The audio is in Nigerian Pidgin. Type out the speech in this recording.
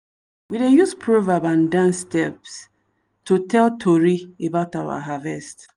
we dey use proverb and dance step to tell tori about our harvest.